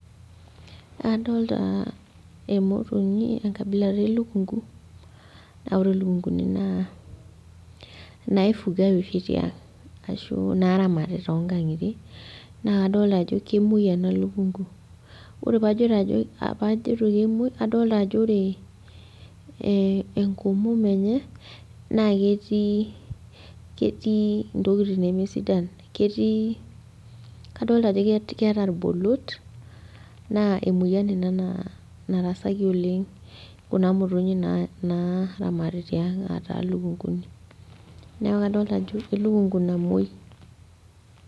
Adolta emotonyi enkabila elukunku, na ore lukunkuni naa naifugai oshi tiang'. Ashu naramati tonkang'itie, na kadolta ajo kemoi ena lukunku. Ore pajito ajo, pajito kemoi, na kadolta ajo ore enkomom enye, na ketii ketii intokiting nemesidan. Ketii kadolta ajo keeta irbolot, naa emoyian ina naa narasaki oleng kuna motonyi naa naramati tiang' ataa lukunkuni. Neeku kadolta ajo, elukunku namoi.